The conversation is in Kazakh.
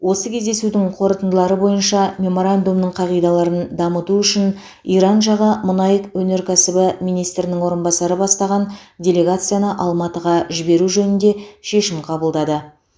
осы кездесудің қорытындылары бойынша меморандумның қағидаларын дамыту үшін иран жағы мұнай өнеркәсібі министрінің орынбасары бастаған делегацияны алматыға жіберу жөнінде шешім қабылдады